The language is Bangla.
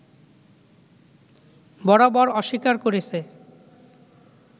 বরাবর অস্বীকার করেছে